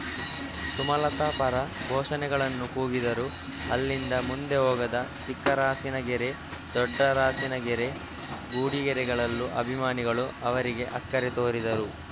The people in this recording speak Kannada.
ಸುಮಲತಾ ಪರ ಘೋಷಣೆಗಳನ್ನು ಕೂಗಿದರು ಅಲ್ಲಿಂದ ಮುಂದೆ ಹೋಗದ ಚಿಕ್ಕರಾಸಿನಗೆರೆ ದೊಡ್ಡರಾಸಿನಗೆರೆ ಗುಡಿಗೆರೆಗಳಲ್ಲೂ ಅಭಿಮಾನಿಗಳು ಅವರಿಗೆ ಅಕ್ಕರೆ ತೋರಿದರು